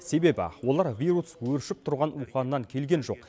себебі олар вирус өршіп тұрған уханьнан келген жоқ